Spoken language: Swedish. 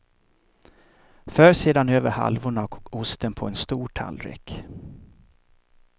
För sedan över halvorna och osten på en stor tallrik.